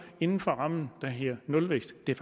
inden for den ramme der hedder nulvækst det er